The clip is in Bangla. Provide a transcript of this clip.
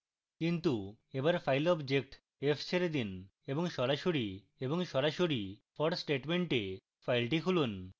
কিন্তু এবার file object f ছেড়ে দিন এবং সরাসরি for statement এ file খুলুন